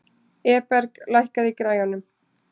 Eberg, lækkaðu í græjunum.